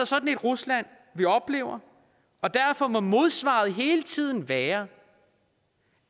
sådan et rusland vi oplever og derfor må modsvaret hele tiden være